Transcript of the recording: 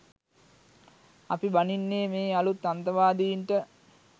අපි බනින්නේ මේ අලුත් අන්තවාදින්ට